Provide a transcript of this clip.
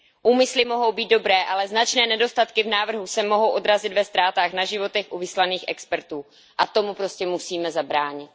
Úmysly mohou být dobré, ale značné nedostatky v návrhu se mohou odrazit ve ztrátách na životech u vyslaných expertů a tomu prostě musíme zabránit.